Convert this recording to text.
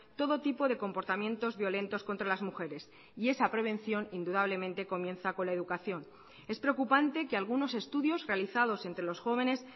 todo tipo de comportamientos violentos contra las mujeres y esa prevención indudablemente comienza con la educación es preocupante que algunos estudios realizados entre los jóvenes